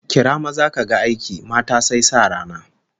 Kira maza kaga aiki, mata sai sa rana